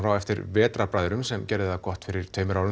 á eftir Vetrarbræðrum sem gerði það gott fyrir tveimur árum